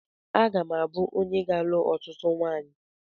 Aga m abụ onye ga alụ ọtụtụ nwanyi